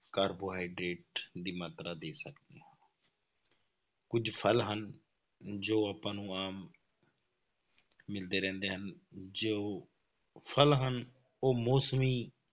carbohydrate ਦੀ ਮਾਤਰਾ ਦੇ ਸਕਦੇ ਹਾਂ ਕੁੱਝ ਫਲ ਹਨ ਜੋ ਆਪਾਂ ਨੂੰ ਆਮ ਮਿਲਦੇ ਰਹਿੰਦੇ ਹਨ, ਜੇ ਉਹ ਫਲ ਹਨ ਉਹ ਮੌਸਮੀ